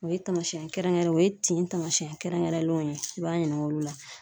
O ye tamasiyɛn kɛrɛnkɛrɛn o ye tin tamasiyɛn kɛrɛnkɛrɛnlenw ye, i b'a ɲininka olu la.